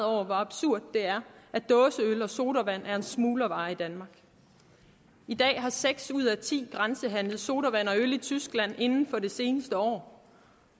over hvor absurd det er at dåseøl og sodavand er smuglervarer i danmark i dag har seks ud af ti grænsehandlet sodavand og øl i tyskland inden for det seneste år